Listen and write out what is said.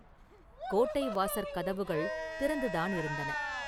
கோட்டை வாசற் கதவுகள் திறந்துதானிருந்தன.